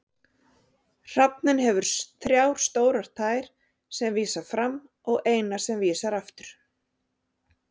Hrafninn hefur þrjá stórar tær sem vísa fram og eina sem vísar aftur.